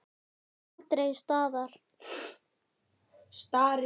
Nema aldrei staðar.